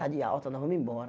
Está de alta, nós vamos embora.